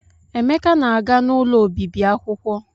Emeka na-aga n'ụlọ obibi akwụkwọ.